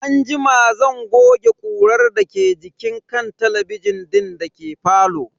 Anjima zan goge ƙurar da ke jikin kan talabijin din dake falo.